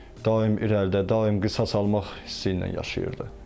Daim irəlidə, daim qisas almaq hissi ilə yaşayırdı.